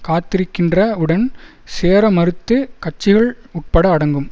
காத்திருக்கின்ற வுடன் சேர மறுத்த கட்சிகள் உட்பட அடங்கும்